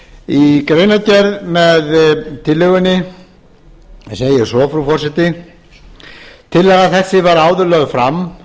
í greinargerð með tillögunni segir svo frú forseti tillaga þessi var áður lögð fram